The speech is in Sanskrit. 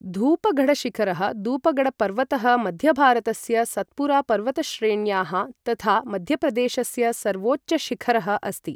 धूपगढ़शिखरः धूपगढ़पर्वतः मध्यभारतस्य सत्पुरा पर्वतश्रेण्याः तथा मध्यप्रदेशस्य सर्वोच्चशिखरः अस्ति।